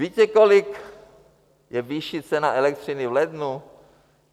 Víte, kolik je výše ceny elektřiny v lednu?